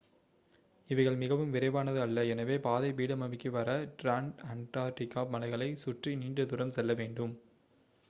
இவைகள் மிகவும் விரைவானது அல்ல எனவே பாதை பீடபூமிக்கு வர டிரான்அண்டார்க்டிக் மலைகளை சுற்றி நீண்ட தூரம் செல்ல வேண்டும்